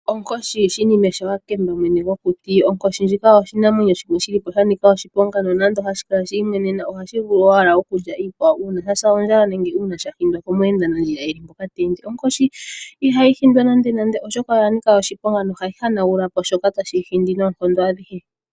Onkoshi Shinime shaWakemba mwene gwokuti. Onkoshi ndjika oshinamwenyo sha nika oshiponga nonando hashi kala shi imwenena ohashi vulu owala okulya iikwawo uuna sha say ondjala nenge uuna sha hindwa komweenanandjila e li mpoka teende. Onkoshi ihayi hindwa nandenande oshoka oya nika oshiponga nohayi hanagula po shoka tashi yi hindi noonkondo adhihe.